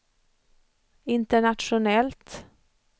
internationellt